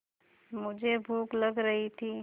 मुझे भूख लग रही थी